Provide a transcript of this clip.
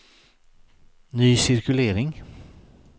ny cirkulering